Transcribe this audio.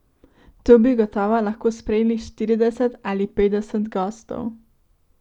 Tu bi gotovo lahko sprejeli štirideset ali petdeset gostov.